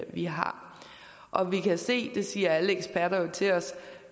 vi har og vi kan se det siger alle eksperter jo til os at